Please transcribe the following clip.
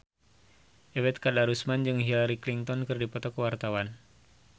Ebet Kadarusman jeung Hillary Clinton keur dipoto ku wartawan